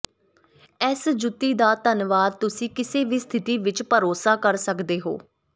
ਇਸ ਜੁੱਤੀ ਦਾ ਧੰਨਵਾਦ ਤੁਸੀਂ ਕਿਸੇ ਵੀ ਸਥਿਤੀ ਵਿੱਚ ਭਰੋਸਾ ਕਰ ਸਕਦੇ ਹੋ